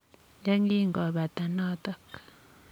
YE kingobata notok.